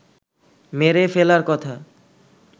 মেরে ফেলার কথা